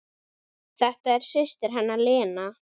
Þetta er systir hennar Lena.